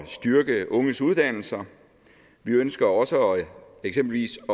styrke unges uddannelser vi ønsker også eksempelvis